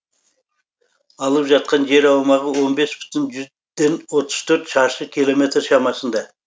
алып жатқан жер аумағы он бес бүтін жүзден отыз төрт шаршы километр шамасында